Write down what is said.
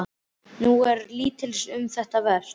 En nú er lítils um þessa vert.